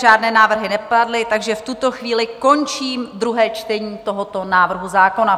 Žádné návrhy nepadly, takže v tuto chvíli končím druhé čtení tohoto návrhu zákona.